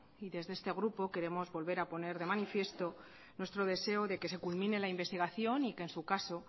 y desde este grupo queremos volver a poner de manifiesto nuestro deseo de que se culmine la investigación y que en su caso